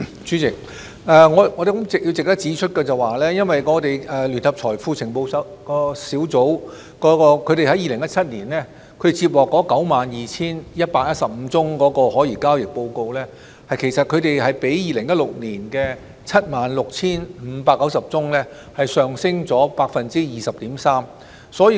主席，我相信值得指出的是，聯合財富情報組在2017年接獲的 92,115 宗可疑交易報告，其實已較2016年的 76,590 宗上升了 20.3%。